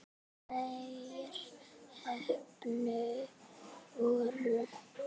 Þeir heppnu voru